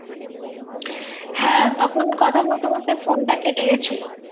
হ্যাঁ তখন কথা বলতে বলতে phone টা কেটে গেছিলো।